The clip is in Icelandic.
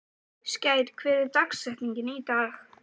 Skær, hver er dagsetningin í dag?